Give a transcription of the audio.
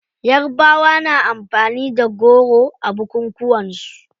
Yarabawa na amfani da goro a bukukunan su.